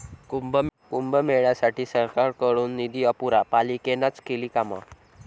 कुंभमेळ्यासाठी सरकारकडून निधी अपुरा, पालिकेनंच केली कामं'